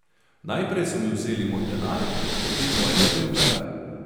Najprej so mi vzeli moj denar, potem mojega beemveja.